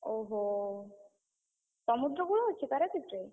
ଓହୋ! ସମୁଦ୍ର କୂଳ ଅଛି ପାରାଦ୍ୱୀପରେ?